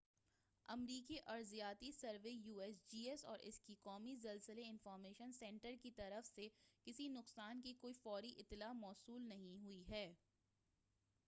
امریکی ارضیاتی survey U S G S اور اس کے قومی زلزلہ انفارمیشن سنٹر کی طرف سے کسی نقصان کی کوئی فوری اطلاع موصول نہیں ہوئی ہے۔